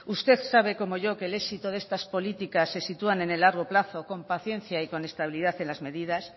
usted sabe como yo que el éxito de estas políticas se sitúa en el largo plazo con paciencia y con estabilidad en las medidas